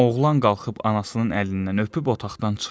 Oğlan qalxıb anasının əlindən öpüb otaqdan çıxdı.